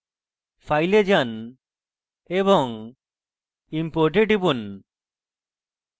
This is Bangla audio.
file এ যান এবং import এ টিপুন